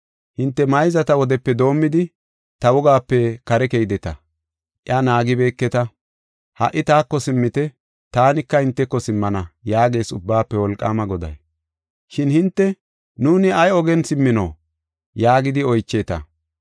Hinte mayzata wodepe doomidi, ta wogape kare keydeta; iya naagibeketa. Ha77i taako simmite; taanika hinteko simmana” yaagees Ubbaafe Wolqaama Goday. Shin hinte, “Nuuni ay ogen simmino?” yaagidi oycheeta.